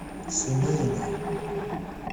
семейные